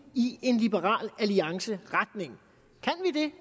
i en liberal alliance retning